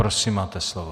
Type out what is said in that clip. Prosím, máte slovo.